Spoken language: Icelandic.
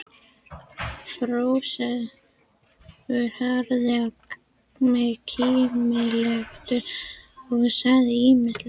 Kristófer horfði á mig kímileitur og sagði ísmeygilega